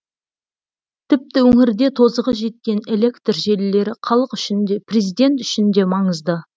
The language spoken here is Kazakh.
тіпті өңірде тозығы жеткен электр желілері халық үшін де президент үшін де маңызды